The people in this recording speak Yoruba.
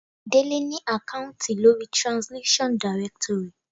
Délé ni àkáùntì lórí Translation. directory.